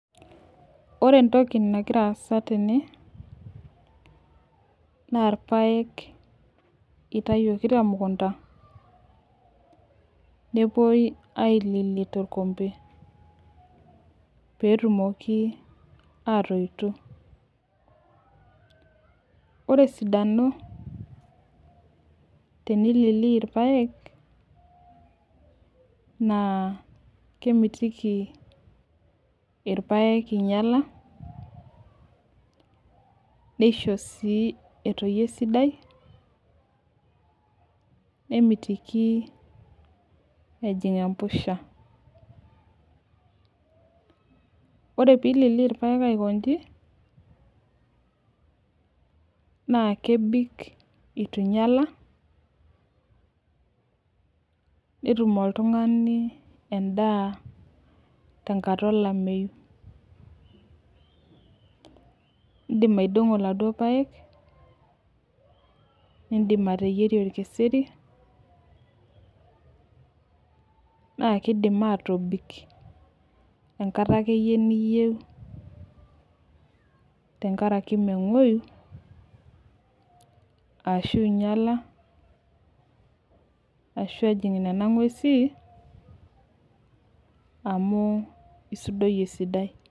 ore entoki nagira asa tene naa ilpaeyek itayioki temukunda nepuoi ailili torkompe pee etumoki atoito ore esidano tenilili ilpayek naa kemitiki ilpayek ing'iala nisho sii etoyu esidai nemitiki ejing embusha ore pee ilili ilpayek aikoji naa kebik eitu ing'iala netum oltung'ani edaa tenkata olameyu idim aidong'o iladuoo payek, nidim ateyierie olkiseri, naa kidim atobik enkata akeyie niyieu tengaraki meng'uoyuu ashu ing'iala, amu isudoyie esidai.